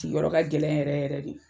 Sigiyɔrɔ ka gɛlɛn yɛrɛ yɛrɛ de.